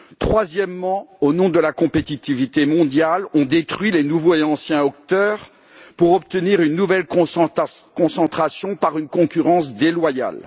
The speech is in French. Troisièmement, au nom de la compétitivité mondiale, on détruit les nouveaux et anciens acteurs pour obtenir une nouvelle concentration par une concurrence déloyale.